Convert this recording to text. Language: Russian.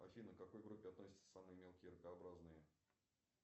афина к какой группе относятся самые мелкие ракообразные